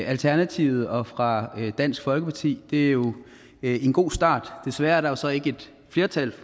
alternativet og fra dansk folkeparti det er jo en god start desværre er der så ikke et flertal